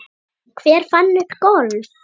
Hver fann upp golf?